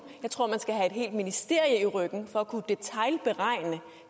jeg tror at man skal have et helt ministerium i ryggen for at kunne detailberegne